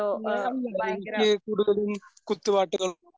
ഞാൻ എനിക്ക് കൂടുതലും കുത്ത്പാട്ടുകൾ